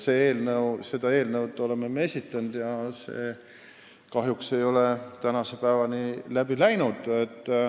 Selle eelnõu me oleme esitanud, aga kahjuks ei ole see tänase päevani läbi läinud.